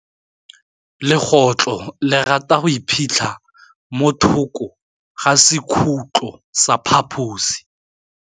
Legôtlô le rata go iphitlha mo thokô ga sekhutlo sa phaposi.